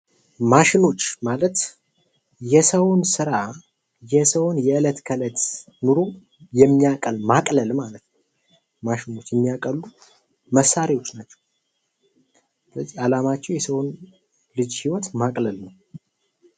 ማሽኖች ማለት የሰውን ስራ የሰውን የለት ተእለት ኑሮ የሚያቀል ማቅለል ማለት ነው። ማሽኖች የሚያቀሉ መሳርያወች ናቸው። ስለዚህ አላማቸው የሰውን ልጅ ህይወት ማቅለል ነው።